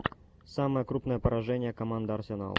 самое крупное поражение команда арсенал